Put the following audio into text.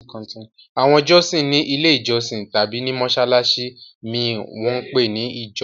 Àwọn jọ́sìn ní Ilé-ìjọsìn tàbí ní mọ́ṣáláṣí mi wọ́n ń pè ní ìjọ.